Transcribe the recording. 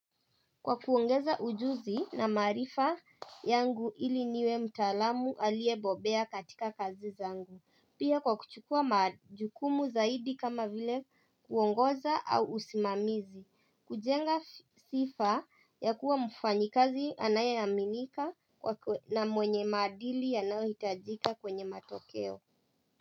Kwa kuongeza ujuzi na maarifa yangu ili niwe mtaalamu aliye bobea katika kazi zangu Pia kwa kuchukua majukumu zaidi kama vile kuongoza au usimamizi kujenga sifa ya kuwa mfanyi kazi anayeminika na mwenye maadili yanaohitajika kwenye matokeo.